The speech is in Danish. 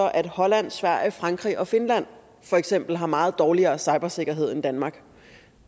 at holland sverige og frankrig og finland for eksempel har meget dårligere cybersikkerhed end danmark